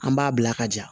An b'a bila ka ja